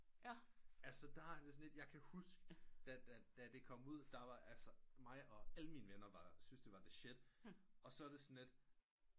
Altså der kan jeg huske da det kom ud der var altså mig og alle mine venner syntes det var the shit og så er det sådan lidt